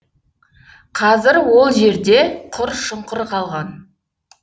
қазір ол жерде құр шұңқыр қалған